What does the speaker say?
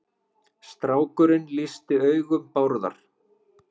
Strákurinn lýsti augum Bárðar.